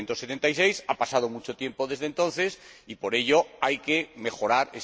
1976. Ha pasado mucho tiempo desde entonces, y, por ello, hay que mejorarla.